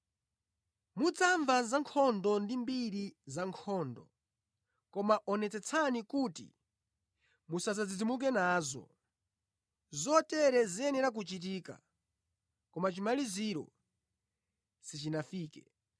Mudzamva za nkhondo ndi mbiri za nkhondo, koma onetsetsani kuti musadzidzimuke nazo. Zotere ziyenera kuchitika, koma chimaliziro sichinafike.